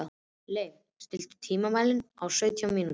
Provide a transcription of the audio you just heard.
Leif, stilltu tímamælinn á sautján mínútur.